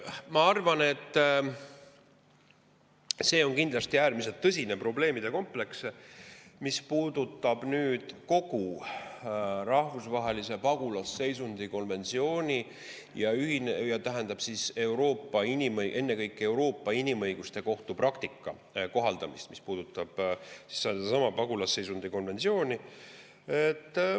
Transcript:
Ma arvan, et see on kindlasti äärmiselt tõsine probleemide kompleks, mis puudutab kogu rahvusvahelist pagulasseisundi konventsiooni ja ennekõike Euroopa Inimõiguste Kohtu praktika kohaldamist, mis puudutab sedasama pagulasseisundi konventsiooni.